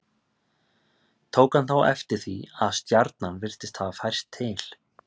Tók hann þá eftir því að stjarnan virtist hafa færst til.